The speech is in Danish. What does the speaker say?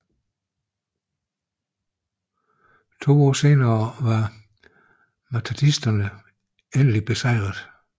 To år senere var mahdisterne endeligt besejrede